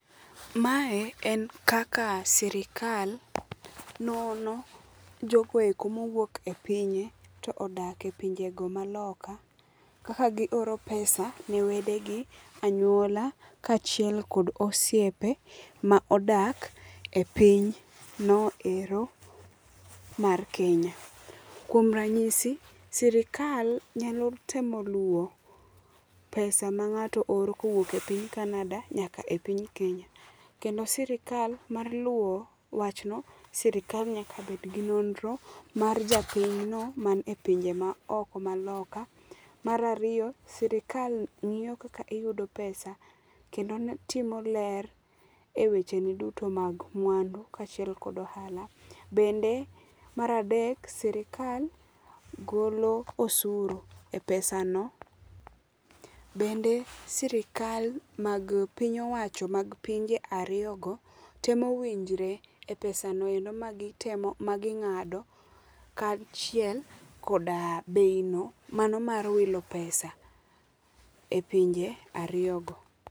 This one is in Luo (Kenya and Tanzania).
Mae en kaka sirikal nono jogo ego mowuok e pinye to odak e pinjego ma loka ,kaka gioro pesa ne wedegi, anyuola kachiel kod osiepe ma odak e piny noero mar Kenya. Kuom ranyisi, sirkal nyalo temo luwo pesa ma ng'ato oro koa e piny Canada nyaka e piny Kenya, kendo sirkal mar luwo wachno, sirkal nyaka bed gi nonro mar japiny no manie pinje maoko ma loka. Mar ariyo, sirkal ng'iyo kaka iyudo pesa kendo timo ler e wecheni duto mag mwandu kachiel kod ohala. Bende mar adek, sirkal golo osuru e pesano .Bende sirkal mag piny owacho mag pinje ariyogo temo winjre e pesano endo ma gitemo, ma ging'ado kachiel koda bei no mano mar wilo pesa e pinje ariyo go